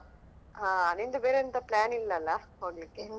ಹಾ ನಿಂದು ಬೇರೆ ಎಂತ plan ಇಲ್ಲಲ್ಲಾ ಹೋಗ್ಲಿಕೆ.